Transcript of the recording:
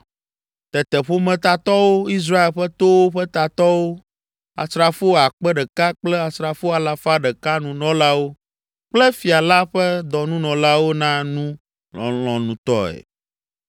Tete ƒometatɔwo, Israel ƒe towo ƒe tatɔwo, asrafo akpe ɖeka kple asrafo alafa ɖeka nunɔlawo kple fia la ƒe dɔnunɔlawo na nu lɔlɔ̃nutɔe.